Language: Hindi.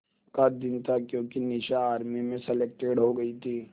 का दिन था क्योंकि निशा आर्मी में सेलेक्टेड हो गई थी